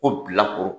Ko bilakoro